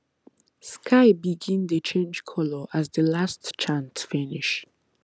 sky begin dey change colour as the last chant finish